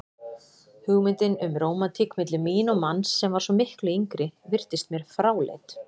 Hugmyndin um rómantík milli mín og manns sem var svo miklu yngri virtist mér fráleit.